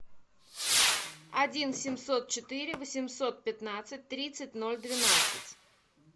один семьсот четыре восемьсот пятнадцать тридцать ноль двенадцать